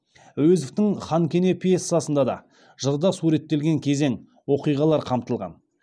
әуезовтің хан кене пьесасында да жырда суреттелген кезең оқиғалар қамтылған